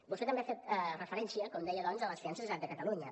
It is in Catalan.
vostè també ha fet referència com deia doncs a les finances de la generalitat de catalunya